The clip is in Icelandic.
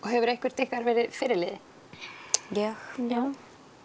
hefur eitthvert ykkar verið fyrirliði ég já